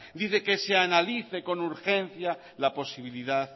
dice que se analice con urgencia la posibilidad